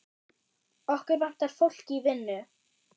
Okkur vantar fólk í vinnu.